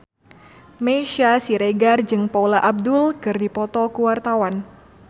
Meisya Siregar jeung Paula Abdul keur dipoto ku wartawan